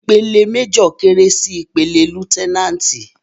Ìpele méjọ̀ kéré sí ìpele lutẹnáàtì.